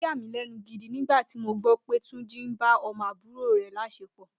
Ó yàmílé̩nu gidi nígbà tí mo gbó̩ pé Túnjí ń ba o̩mo̩ àbúrò rè̩ lás̩epò̩